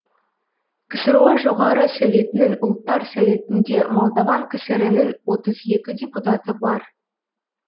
ксро жоғары советінің ұлттар советінде молдаван кср інің отыз екі депутаты бар